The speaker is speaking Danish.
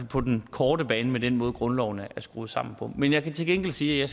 på den korte bane med den måde grundloven er skruet sammen på men jeg kan til gengæld sige at